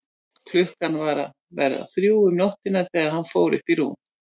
Klukkan var að verða þrjú um nóttina þegar hann fór upp í rúm.